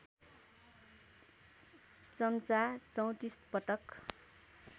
चम्चा ३४ पटक